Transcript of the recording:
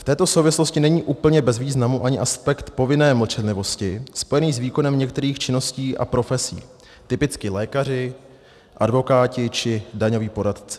V této souvislosti není úplně bez významu ani aspekt povinné mlčenlivosti spojený s výkonem některých činností a profesí, typicky lékaři, advokáti či daňoví poradci.